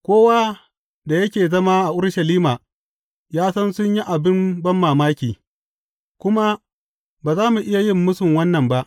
Kowa da yake zama a Urushalima ya san sun yi abin banmamaki, kuma ba za mu iya yin mūsu wannan ba.